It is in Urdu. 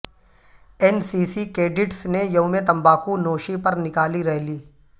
این سی سی کیڈٹس نے یوم تمباکو نوشی پر نکالی ریلی